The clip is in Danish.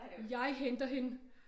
Jeg henter hende